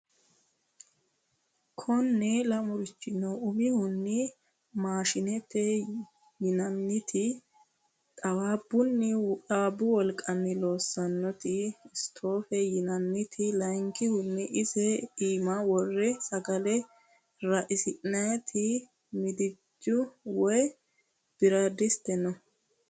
Kone lamurichi no umihunni maashinete yinanniti xawaabbu wolqanni loosanoti stofe yinanniti layinkihunni ise iima wore sagale raisi'nanniti midancho woyi biradiate no